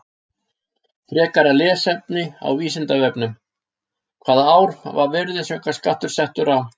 Frekara lesefni á Vísindavefnum: Hvaða ár var virðisaukaskattur settur á?